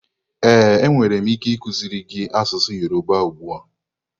Ee, enwere m ike ikuziri gị asụsụ Yoruba ugbu a.